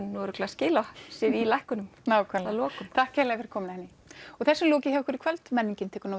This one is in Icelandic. skili sér í lækkunum nákvæmlega takk kærlega fyrir komuna Henný þessu er lokið hjá okkur í kvöld menningin tekur nú